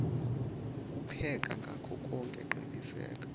ukupheka ngakhoke qiniseka